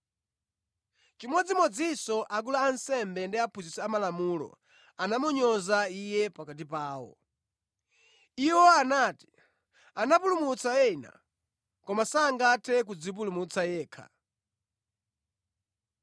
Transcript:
Chimodzimodzinso akulu a ansembe ndi aphunzitsi amalamulo anamunyoza Iye pakati pawo. Iwo anati, “Anapulumutsa ena, koma sangathe kudzipulumutsa yekha!